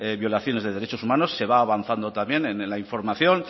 violación de derechos humanos se va avanzando también en la información